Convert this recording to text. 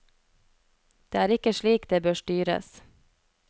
Det er ikke slik det bør styres.